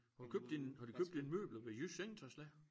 Har du købt dine har du købt dine møbler ved Jysk Sengetøjslager?